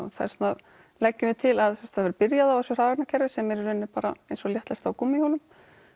þess vegna leggjum við til að það verði byrjað á þessu hraðvagnakerfi sem er í raun eins og léttlest á gúmmíhjólum